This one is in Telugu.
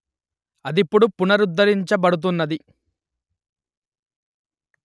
అదిప్పుడు పునరుద్ధరించ బడుతున్నది